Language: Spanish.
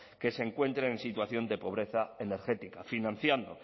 que se encuentren en situación de pobreza energética financiando